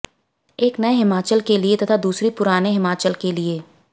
एक नए हिमाचल के लिए तथा दूसरी पुराने हिमाचल के लिए